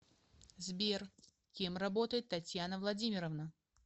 сбер кем работает татьяна владимировна